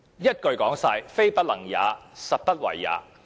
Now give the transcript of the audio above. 一言以蔽之，"非不能也，實不為也"。